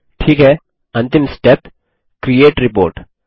ठीक है अंतिम स्टेप क्रिएट रिपोर्ट